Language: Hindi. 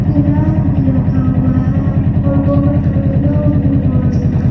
गिलास भी रखा हुआ है और बहुत सारे लोग भी मौजूद है।